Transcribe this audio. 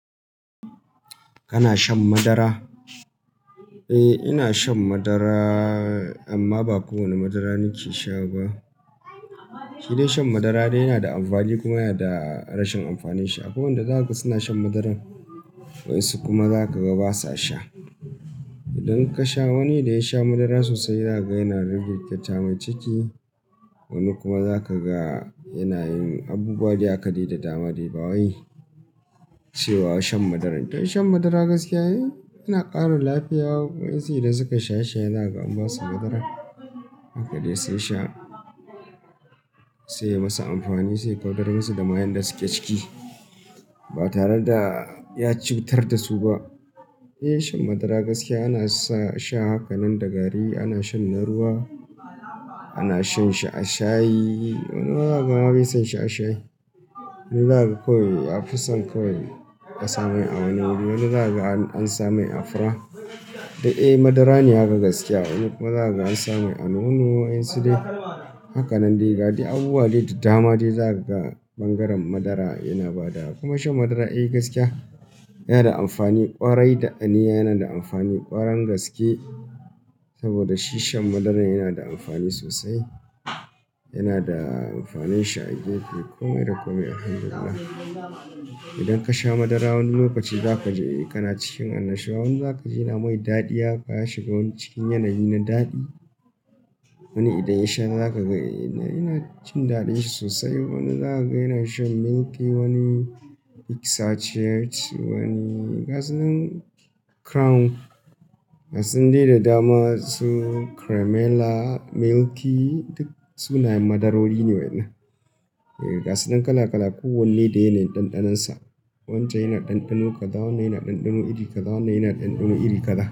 Kana shan madara? Eh, ina shan madara amma ba kowane madara nake sha ba. Shi dai shan madara dai yana da amfani kuma yana da rashin amfanin shi. Akwai wanda zaka ga suna shan madaran waƴansu kuma zaka ga basa sha. Idan ka sha wani da ya sha madara sosai zaka ga yana da rikirkita mai ciki, wani kuma zaka ga yana yin abubuwa da haka dai da dama dai ba wai cewa shan madara. Don shan madara gaskiya yana ƙara lafiya. Waƴansu idan sukai shaye shaye zakaga an basu madara haka dai sun sha, sai ya masu amfani, sai kaudar masu da mayen da suke ciki ba tare da ya cutar da su ba. Eh, shan madara gaskiya ana sa sha haka nan da gari, ana shan na ruwa, ana shan shi a shayi. Wani zaka ga ma bai son shi a shayi. Wani zaka ga kawai ya fi son kawai a sa mai a wani wuri. Wani zaka ga an sa mai a fura. Eh, madara ne haka gaskiya. Wani kuma zaka ga an samu a nono. Waƴansu dai haka nan dai gadai abubuwa dai da dama dai za ka ga ɓangaren madara yana ba da. Kuma shan madara eh gaskiya yana da amfani ƙwarai da aniya yana da amfani ƙwarangaske saboda shi shan madaran yana da amfani sosai. Yana da amfanin shi a jiki komai da komai Alhamdulillah. Idan ka sha madara wani lokaci za ka ji kana cikin annashuwa, wani zaka ji yana mai daɗi haka ya shiga wani cikin yanayi na daɗi. Wani idan ya sha zaka ga yana cin daɗin shi sosai. Wani zaka ga yana shan milky, wani x-ache, wani gasu nan crown. Ga sunan dai da dama su cremella, milky duk sunayen madarori ne waƴannan. Ga sunan kala kala kowanne dai yanayin ɗanɗanonsa. Wancan yana ɗanɗano kaza, wannan yana ɗanɗano iri kaza, wannan yana ɗanɗano iri kaza.